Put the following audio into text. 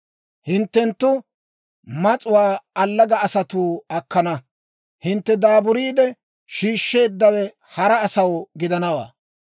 Hinttenttu mas'uwaa allaga asatuu akkana. Hintte daaburiide shiishsheeddawe hara asaw gidanawaa.